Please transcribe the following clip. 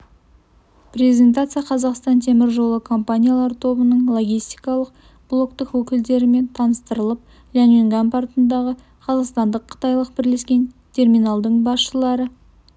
презентация қазақстан темір жолы компаниялар тобының логистикалық блоктың өкілдерімен таныстырылып ляньюнган портындағы қазақстандық-қытайлық бірлескен терминалының басшылары